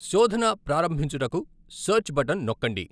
శోధన ప్రారంభించుటకు 'search' button నొక్కండి.